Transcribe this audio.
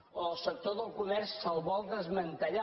o al sector del comerç se’l vol desmantellar